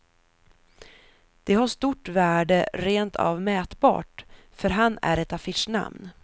Det har stort värde, rent av mätbart, för han är ett affischnamn.